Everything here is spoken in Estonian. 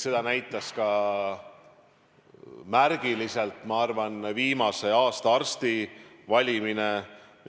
Seda näitas ka märgiliselt, ma arvan, viimase aasta arsti valimine.